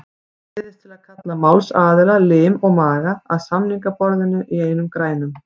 Ég neyðist til að kalla málsaðila, lim og maga, að samningaborðinu í einum grænum.